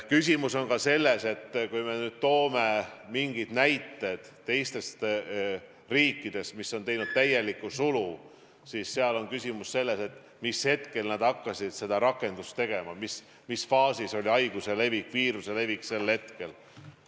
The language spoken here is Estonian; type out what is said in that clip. Küsimus on ka selles, kui me nüüd toome näiteid teistest riikidest, kus on täielik sulg, siis seal on küsimus selles, mis hetkel nad hakkasid seda rakendama, mis faasis oli haiguse levik, viiruse levik sel hetkel.